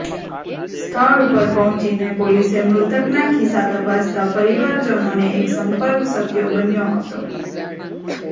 સ્થળ ઉપર પહોંચીને પોલીસે મૃતકના ખિસ્સા તપાસતાં પરિવારજનોને સંપર્ક શક્ય બન્યો હતો